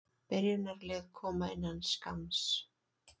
Byrjunarlið koma innan skamms.